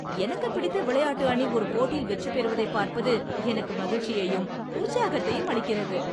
எனக்குப் பிடித்த விளையாட்டு அணி ஒரு போட்டியில் வெற்றி பெறுவதைப் பார்ப்பது எனக்கு மகிழ்ச்சியையும் உற்சாகத்தையும் அளிக்கிறது.